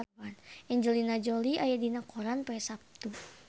Angelina Jolie aya dina koran poe Saptu